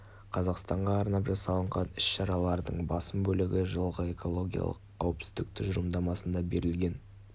қазақстанға арнап жасалынған іс-шараларының басым бөлігі жылғы экологиялық қауіпсіздік тұжырымдамасында берілген